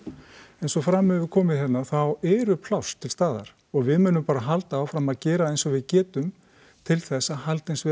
eins og fram hefur komið hérna þá eru pláss til staðar og við munum bara halda áfram að gera eins og við getum til þess að halda eins vel